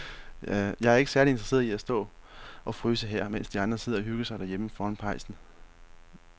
Jeg er ikke særlig interesseret i at stå og fryse her, mens de andre sidder og hygger sig derhjemme foran pejsen.